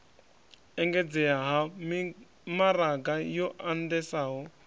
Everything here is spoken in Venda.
engedzea ha mimaraga yo andesaho